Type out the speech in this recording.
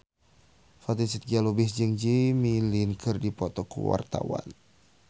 Fatin Shidqia Lubis jeung Jimmy Lin keur dipoto ku wartawan